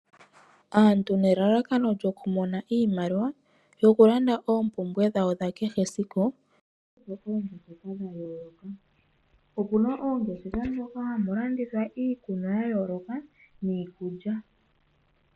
Aantu nelalakano lyokumona iimaliwa yokulanda oompumbwe dhawo dhakehesiku, okuna oongeshefa moka hamu landithwa iikunwa yayooloka niikulya.